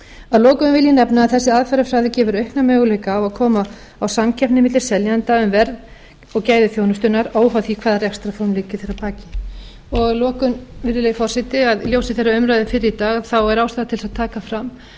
að lokum vil ég nefna að þessi aðferðafræði gefur aukna möguleika á að koma á samkeppni milli seljenda um verð og gæði þjónustunnar óháð því hvaða rekstrarform liggi þar að baki að lokum virðulegi forseti í ljósi þeirrar umræðu fyrr í dag er ástæða til þess að taka fram